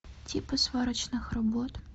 типы сварочных работ